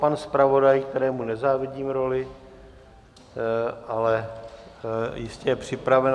Pan zpravodaj, kterém nezávidím roli, ale jistě je připraven.